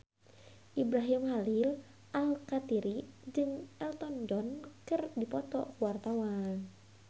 Ibrahim Khalil Alkatiri jeung Elton John keur dipoto ku wartawan